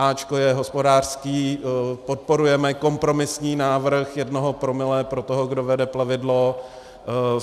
A je hospodářský, podporujeme kompromisní návrh jednoho promile pro toho, kdo vede plavidlo.